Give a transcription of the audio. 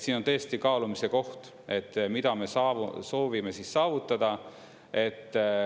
Siin on tõesti kaalumise koht, et mida me soovime saavutada.